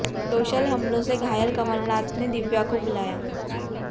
social हमलों से घायल कमलनाथ ने दिव्या को बुलाया